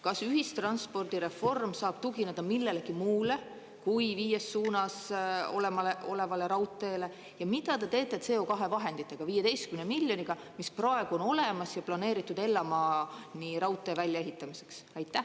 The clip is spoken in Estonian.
Kas ühistranspordireform saab tugineda millelegi muule kui viies suunas olemasolevale raudteele ja mida te teete CO2 vahenditega, 15 miljoniga, mis praegu on olemas ja planeeritud Ellamaani raudtee väljaehitamiseks?